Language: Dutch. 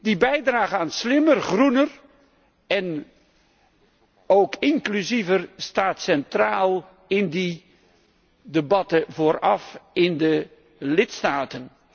Die bijdrage aan slimmer, groener en ook inclusiever staat centraal in die debatten vooraf in de lidstaten.